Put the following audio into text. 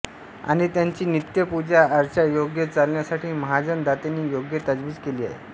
आणि त्याची नित्य पूजा अर्चा योग्य चालण्यासाठी महाजन दातेंनी योग्य तजवीज केली आहे